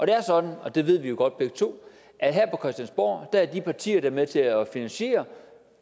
er sådan og det ved vi jo godt begge to at her på christiansborg er de partier der er med til at finansiere